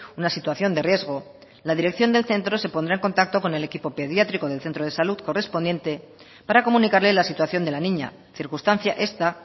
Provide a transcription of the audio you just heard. una situación de riesgo la dirección del centro se pondrá en contacto con el equipo pediátrico del centro de salud correspondiente para comunicarle la situación de la niña circunstancia esta